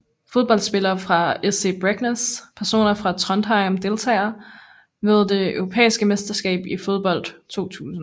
Fodboldspillere fra SC Bregenz Personer fra Trondheim Deltagere ved det europæiske mesterskab i fodbold 2000